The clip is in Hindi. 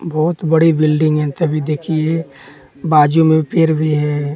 बहुत बड़ी बिल्डिंग है तभी देखिए बाजू में पेर भी है।